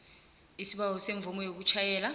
isibawo semvumo yokutjhayela